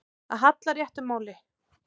Að halla réttu máli